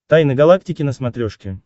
тайны галактики на смотрешке